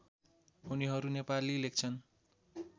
उनीहरू नेपाली लेख्छन्